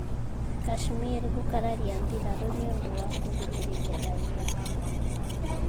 Kashmir gũkararia mbirarū nĩ ũndũ wa kũhinyĩrĩria raiya